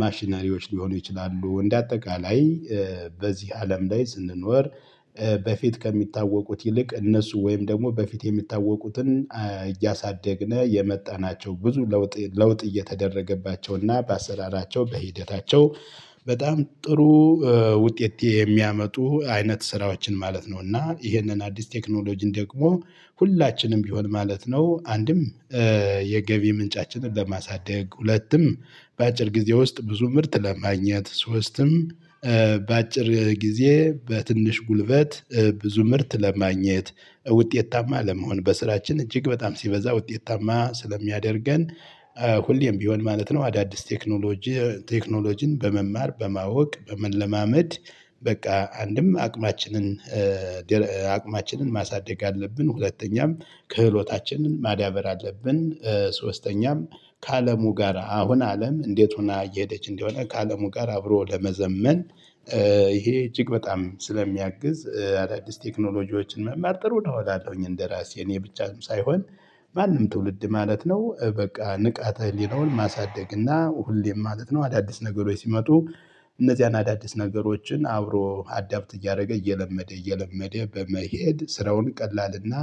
ማሽነሪዎች ሊሆኑ ይችላሉ እንደ አጠቃላይ። በዚህ አለም ላይ ስንኖር በፊት ከሚታወቁት ይልቅ እነሱ ወይም ደግሞ በፊት የሚታወቁትን እያሳደግነው የመጣናቸው ብዙ ለውጥ ለውጥ እየተደረገባቸውና በአሰራራቸው በሂደታቸው በጣም ጥሩ ውጤት የሚያመጡ አይነት ስራዎችን ማለት ነው። እና ይሄንን አዲስ ቴክኖሎጂን ደግሞ ሁላችንም ቢሆን ማለት ነው። አንድም የገቢ ምንጫችንን ለማሳደግ ሁለቱም በአጭር ጊዜ ውስጥ ብዙ ምርት ለማግኘት ሶስትም በአጭር ጊዜ በትንሽ ጉልበት ብዙ ምርት ለማግኘት ውጤታማ ለመሆን በስራችን እጅግ በጣም ሲበዛ ውጤታማ ስለሚያደርገን ሁሌም ቢሆን ማለት ነው። አዳዲስ ቴክኖሎጂ ቴክኖሎጂን በመማር በማወቅ በመለማመድ በቃ አንድም አቅማችንን አቅማችንን ማሳደግ አለብን ሁለተኛም ክህሎታችንን ማዳበር አለብን። ሶስተኛም ከአለሙ ጋር አሁን አለም እንዴት ሆና እየሄደች እንደሆነ ከአለሙ ጋር አብሮ ለመዘመን። ይሄ እጅግ በጣም ስለሚያግዝ አዳዲስ ቴክኖሎጂዎችን መማር ጥሩ እላለሁኝ እንደራሴ እኔ ብቻም ሳይሆን ማንም ትውልድ ማለት ነው። በቃ ንቃተ ህሊናውን ማሳደግ እና ሁሌም ማለት ነው። አዳዲስ ነገሮች ሲመጡ እነዚያን አዳዲስ ነገሮችን አብሮ አዳፕት እያደረገ እየለመደ እየለመደ በመሄድ ስራውን ቀላልና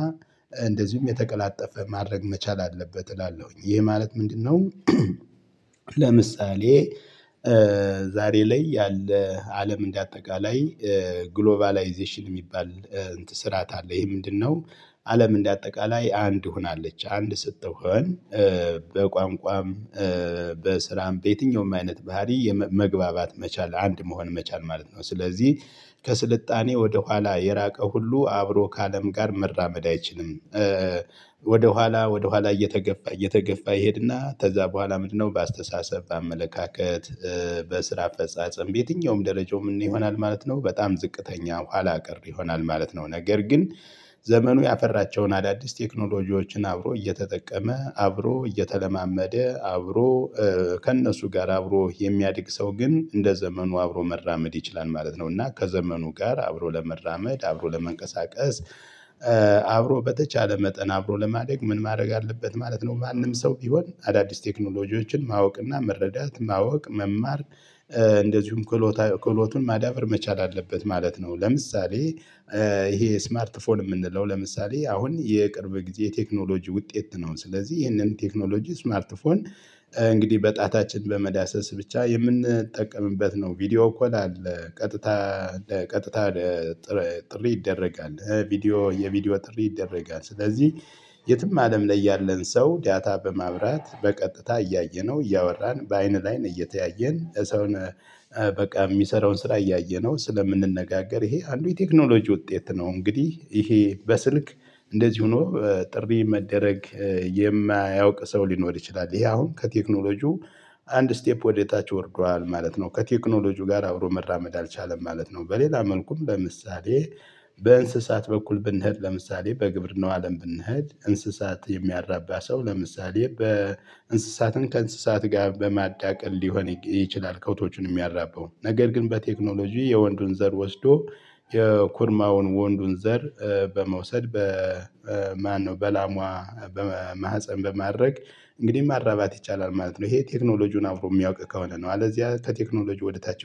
እንደዚሁም የተቀላጠፈ ማድረግ መቻል አለበት እላለሁኝ ይህ ማለት ምንድነው? ለምሳሌ ዛሬ ላይ ያለ አለም እንደ አጠቃላይ ግሎባላይዜሽን የሚባል ስርዓት አለ። ይሄ ምንድነው? አለም እንደ አጠቃላይ አንድ ሆናለች አንድ ስትሆን በቋንቋም በስራም በየትኛውም አይነት ባህሪ መግባባት መቻል አንድ መሆን መቻል ማለት ነው። ስለዚህ ከስልጣኔ ወደ ኋላ የራቀ ሁሉ አብሮ ከአለም ጋር መራመድ አይችልም። ወደኋላ ወደኋላ እየተገፋ እየተገፋ ይሄድና ከዛ በኋላ ምንድነው በአስተሳሰብ አመለካከት በስራ ፈጻጸም በየትኛውም ደረጃውም ይሆናል ማለት ነው። በጣም ዝቅተኛ ኋላ ቀርይሆናል ማለት ነው። ነገር ግን ዘመኑ ያፈራቸውን አዳዲስ ቴክኖሎጂዎችን አብሮ እየተጠቀመ አብሮ እየተለማመደ አብሮ ከእነሱ ጋር አብሮ የሚያድግ ሰው ግን እንደ ዘመኑ አብሮ መራመድ ይችላል ማለት ነው። እና ከዘመኑ ጋር አብሮ ለመራመድ አብሮ ለመንቀሳቀስ አብሮ በተቻለ መጠን አብሮ ለማደግ ምን ማድረግ አለበት ማለት ነው? ማንም ሰው ቢሆን አዳዲስ ቴክኖሎጂዎችን ማወቅና መረዳት ማወቅ መማር እንደዚሁም ክሎቱን ማዳበር መቻል አለበት ማለት ነው። ለምሳሌ ይሄ ስማርት ፎን የምንለው ለምሳሌ አሁን የቅርብ ጊዜ የቴክኖሎጂ ውጤት ነው። ስለዚህ ይሄንን ቴክኖሎጂ ስማርትፎን እንግዲህ በጣታችን በመዳሰስ ብቻ የምንጠቀምበት ነው። ቪዲዮኮል አለ ቀጥታ ቀጥታ ጥሪ ይደረጋል ቪዲዮ የቪዲዮ ጥሪ ይደረጋል። ስለዚህ የትም አለም ላይ ያለን ሰው ዳታ በማብራት በቀጥታ እያየነው እያወራን በአይን ላይ ነው እየተያየን ሰው በቃ የሚሰራውን ስራ እያየነው ስለምንነጋገር ይሄ አንዱ የቴክኖሎጂ ውጤት ነው። እንግዲህ ይሄ በስልክ እንደዚሁ ሆኖ ጥሪ መደረግ የማያውቅ ሰው ሊኖር ይችላል። ይሄ አሁን ከቴክኖሎጂው አንድ ስቴፕ ወደታችሁ ወርዷል ማለት ነው። ከቴክኖሎጂው ጋር አብሮ መራመድ አልቻለም ማለት ነው። በሌላ መልኩም ለምሳሌ በእንስሳት በኩል ብንሄድ ለምሳሌ በግብርናው አለም ብንሄድ እንስሳት የሚያራባ ሰው ለምሳሌ በእንስሳትን ከእንስሳት ጋር በማዳቀል ሊሆን ይችላል ከብቶቹን የሚያራበው ነገር ግን በቴክኖሎጂ የወንዱን ዘር ወስዶ የኩርማውን ወንዱን ዘር በመውሰድ በማነው በላሟ በማህፀን በማድረግ እንግዲህ ማራባት ይቻላል ማለት ነው። ይሄ ቴክኖሎጂውን አብሮ የሚያውቅ ከሆነ ነው አለዚያ ከቴክኖሎጂ ወደ ታች